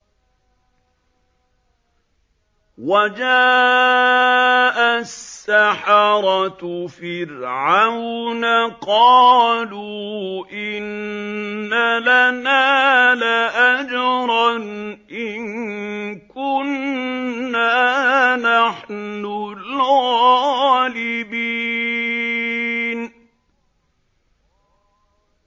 وَجَاءَ السَّحَرَةُ فِرْعَوْنَ قَالُوا إِنَّ لَنَا لَأَجْرًا إِن كُنَّا نَحْنُ الْغَالِبِينَ